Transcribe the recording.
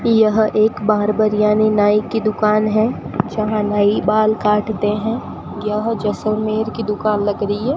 यह एक बार्बर यानी नाई की दुकान है जहां नाई बाल काटते हैं यह जैसलमेर की दुकान लगा रही है।